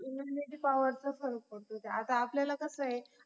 immunity power चा फरक पडतो, आता आपल्याला कस आहे